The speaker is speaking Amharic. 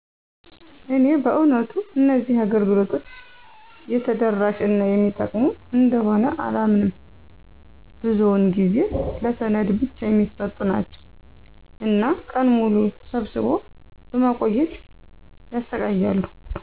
እኔ በእውነቱ እነዚህ አገልግሎቶች የተደራሽ እና የሚጠቅሙ እንደሆነ አላምንም፤ ብዙው ጊዜ ለሰነድ ብቻ የሚሰጡ ናቸው እና ቀን ሙሉ ሰብስቦ በማቆየት ያሰቃያሉ።